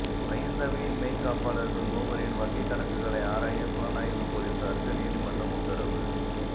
மஹிந்தவின் மெய்க்காப்பாளர்கள் மூவரின் வங்கிக் கணக்குகளை ஆராய புலனாய்வுப் பொலிஸாருக்கு நீதிமன்றம் உத்தரவு